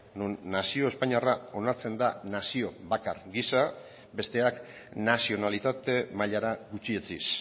non nazio espainiarra onartzen da nazio bakar gisa besteak nazionalitate mailara gutxietsiz